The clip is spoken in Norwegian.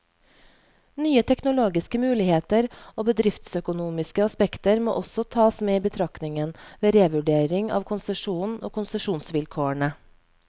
Nye teknologiske muligheter og bedriftsøkonomiske aspekter må også tas med i betraktningen, ved revurdering av konsesjonen og konsesjonsvilkårene.